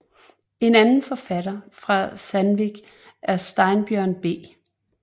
En anden forfatter fra Sandvík er Steinbjørn B